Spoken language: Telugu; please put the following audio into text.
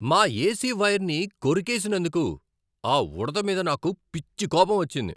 మా ఏసి వైర్ని కొరికేసినందుకు ఆ ఉడుత మీద నాకు పిచ్చి కోపం వచ్చింది.